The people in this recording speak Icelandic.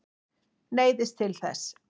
Neyðist til þess.